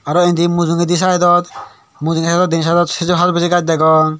aro endi mujongedi saaidot mujugey den saaidot hajorbiji gaj degong.